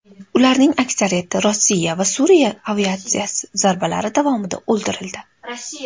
Ularning aksariyati Rossiya va Suriya aviatsiyasi zarbalari davomida o‘ldirildi.